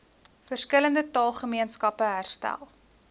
verskillende taalgemeenskappe herstel